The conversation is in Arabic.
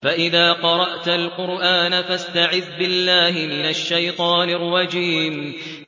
فَإِذَا قَرَأْتَ الْقُرْآنَ فَاسْتَعِذْ بِاللَّهِ مِنَ الشَّيْطَانِ الرَّجِيمِ